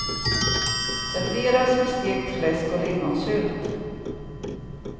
Serveras med stekt fläsk och lingonsylt.